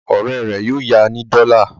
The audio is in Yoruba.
Ọ̀rẹ́ rẹ̀ yóò ya ní dọ́là.